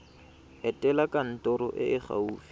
etela kantoro e e gaufi